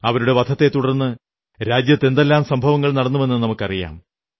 അവരുടെ വധത്തെത്തുടർന്ന് രാജ്യത്തെ എന്തെല്ലാം സംഭവങ്ങൾ നടന്നുവെന്നു നമുക്കറിയാം